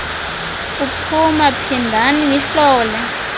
uphuma phindani nihlole